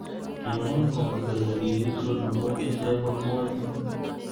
Kimw ngo kole kikitur amu iche ko kwonyik